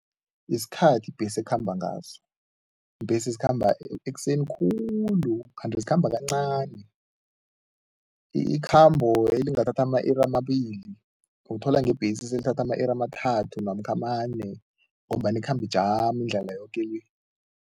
Yisikhathi ibhesi ekhamba ngaso. Iimbhesi zikhamba ekuseni khulu kanti ikhamba kancani. Ikhambo elingathatha ama-iri amabili uthola ngebhesi selithatha ama-iri amathathu namkha amane ngombana ikhamba ijama indlela yoke le.